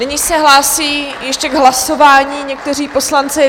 Nyní se hlásí ještě k hlasování někteří poslanci.